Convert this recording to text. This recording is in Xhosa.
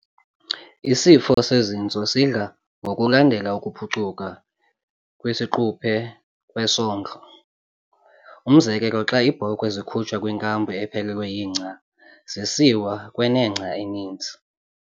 Isifo sezintso sidla ngokulandela ukuphucuka kwesiquphe kwesondlo, umzekelo xa iibhokhwe zikhutshwa kwinkampu ephelelwe yingca zisisiwa kwenengca eninzi.